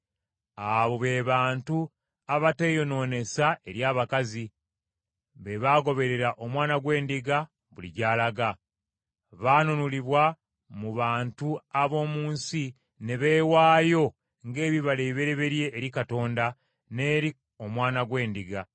Abo be bantu abateeyonoonesanga eri abakazi; be bagoberera Omwana gw’Endiga buli gy’alaga. Baanunulibwa mu bantu ab’omu nsi ne beewaayo ng’ebibala ebibereberye eri Katonda n’eri Omwana gw’Endiga.